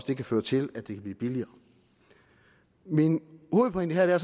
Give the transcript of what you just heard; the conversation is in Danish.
det kan føre til at det kan blive billigere min hovedpointe her er